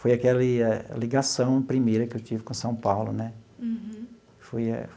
Foi aquela ligação primeira que eu tive com São Paulo né foi.